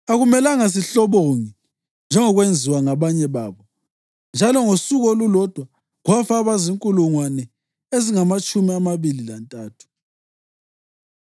Akumelanga sihlobonge njengokwenziwa ngabanye babo, njalo ngosuku olulodwa kwafa abazinkulungwane ezingamatshumi amabili lantathu.